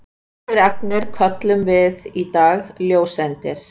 þessar agnir köllum við í dag ljóseindir